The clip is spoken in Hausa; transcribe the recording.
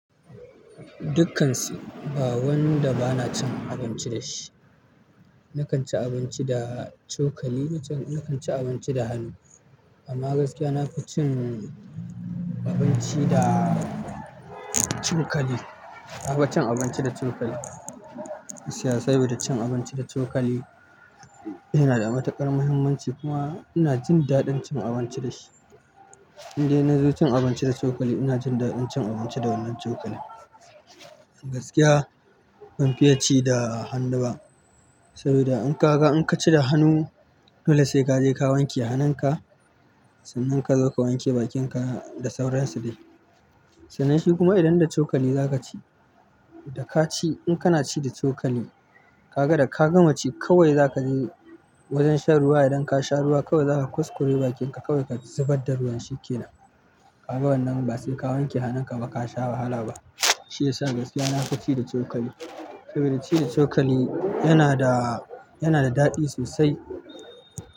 Dukkansu, ba wanda bana cin abinci da shi. Nakan ci abinci da cokali, nakan ci abinci da hannu. Amma gaskiya, na fi cin abinci da cokali. Na fi cin abinci da cokali. Cia sabida cin abinci da cokali yana da matuƙar muhimmanci kuma ina jin daɗin cin abinci da shi indai na zo cin abinci da cokali, ina jin daɗin cin abinci da wannan cokali. Gaskiya ban fiye ci da hannu ba saboda in ka ga, in ka ci da hannu, dole sai ka je ka wanke hanunka. Sannan ka zo ka wanke bakinka da sauransa dai. Sanan shi kuma idan da cokali za ka ci, da ka ci, in kana ci da cokali, ka ga da ka gama ci, kawai za ka je wajen shan ruwa. Idan ka sha ruwa, kawai za ka kuskure bakinka, kawai ka zubar da ruwan shi ke nan. Kaga wannan ba sai ka wanke hanunka ba ka sha wahala ba. Shi yasa gaskiya, na fi ci da cokali. Saboda ci da cokali yana da, yana da daɗi sosai.